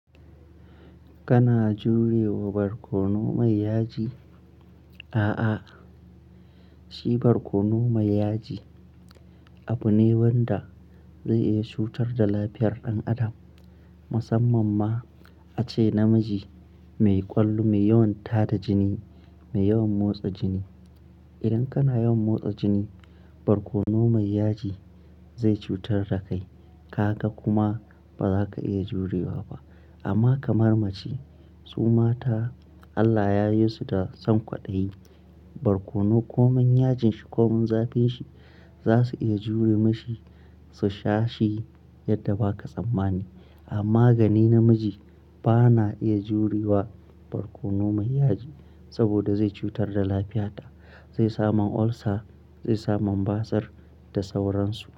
Kana jure wa barkono mai yaji? A'a, shi barkono mai yaji abu ne wanda zai iya cutar da lafiyar ɗan adam. Musamman ma ace namiji mai ƙwallo, mai yawan tada jini, mai yawan motsa jini. Idan kana yawan motsa jini, barkono mai yaji zai cutar da kai. Ka ga kuma ba za ka iya jurewa ba. Amma kamar mace, su mata Allah ya yi su da sankwaɗayi, barkono ko mun yajin shi ko mun zafin shi za su iya jure mashi, su sha shi yadda ba ka tsammani. Amma gani namiji ba na iya jure wa barkono mai yaji saboda zai cutar da lafiyata, zai samu olsa, zai samu basir da sauransu.